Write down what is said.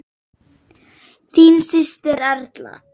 Þín systir, Erla.